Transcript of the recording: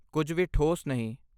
ਕੁਝ ਵੀ ਠੋਸ ਨਹੀਂ।